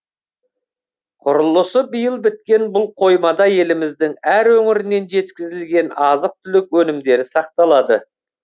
құрылысы биыл біткен бұл қоймада еліміздің әр өңірінен жеткізілген азық түлік өнімдері сақталады